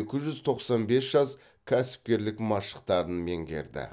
екі жүз тоқсан бес жас кәсіпкерлік машықтарын меңгерді